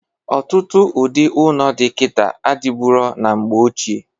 Ọtụtụ ụdị ụnọ dị kịta adịburo na mgbe ochie.